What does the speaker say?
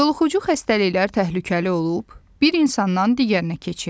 Yoluxucu xəstəliklər təhlükəli olub, bir insandan digərinə keçir.